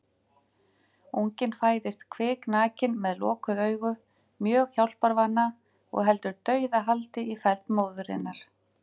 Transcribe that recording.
Unginn fæðist kviknakinn með lokuð augu, mjög hjálparvana og heldur dauðahaldi í feld móðurinnar.